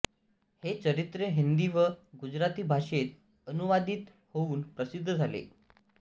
हे चरित्र हिंदी व गुजराती भाषेत अनुवादित होवुन प्रसिद्ध झाले